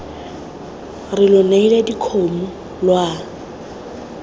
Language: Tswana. re lo neile dikgomo lwa